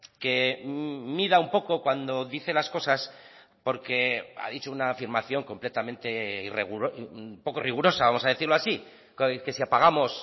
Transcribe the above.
que mida un poco cuando dice las cosas porque ha dicho una afirmación completamente poco rigurosa vamos a decirlo así que si apagamos